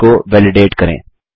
sales को validate करें